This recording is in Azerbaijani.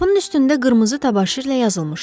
Qapının üstündə qırmızı təbaşirlə yazılmışdı.